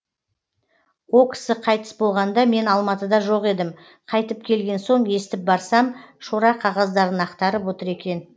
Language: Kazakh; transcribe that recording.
о кісі қайтыс болғанда мен алматыда жоқ едім қайтып келген соң естіп барсам шора қағаздарын ақтарып отыр екен